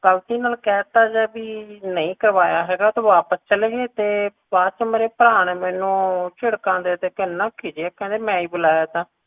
ਗ਼ਲਤੀ ਨਾਲ ਕਹਿਤਾ ਜੇ ਬੀ ਨਹੀਂ ਕਰਵਾਇਆ ਹੈਗਾ ਤਾ ਵਾਪਸ ਚਲੇ ਗਏ ਤੇ ਬਾਅਦ ਚ ਮੇਰੇ ਭਰਾ ਨੇ ਮੈਨੂੰ ਝਿੜਕਾਂ ਦੇ ਦੇ ਕੇ ਇਹਨਾ ਖਿੱਜੇ ਕਹਿੰਦੇ ਮੈਂ ਹੀ ਬੁਲਾਇਆ ਤਾ